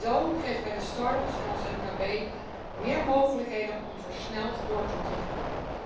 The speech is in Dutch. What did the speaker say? Zo geven wij de start ups en ons mkb meer mogelijkheden om versneld door te ontwikkelen.